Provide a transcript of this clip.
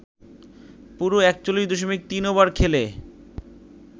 পুরো ৪১ দশমিক ৩ ওভার খেলে